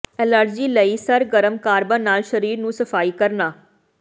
allergy ਲਈ ਸਰਗਰਮ carbon ਨਾਲ ਸਰੀਰ ਨੂੰ ਸਫਾਈ ਕਰਨਾ